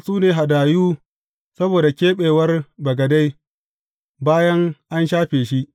Waɗannan su ne hadayu saboda keɓewar bagade, bayan an shafe shi.